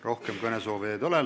Rohkem kõnesoovijaid ei ole.